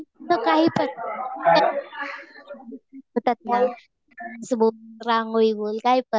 मी काही पण सुबक रांगोळी काही पण